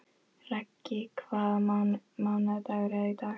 Raggi, hvaða mánaðardagur er í dag?